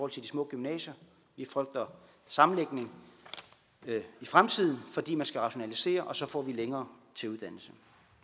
til de små gymnasier vi frygter sammenlægning i fremtiden fordi man skal rationalisere og så får vi længere til uddannelse